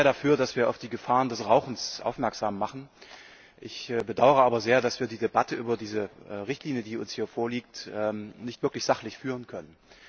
Ich bin auch sehr dafür, dass wir auf die Gefahren des Rauchens aufmerksam machen. Ich bedaure aber sehr, dass wir die Debatte über diese Richtlinie, die uns hier vorliegt, nicht wirklich sachlich führen können.